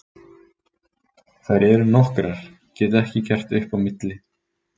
Þær eru nokkrar, get ekki gert upp á milli.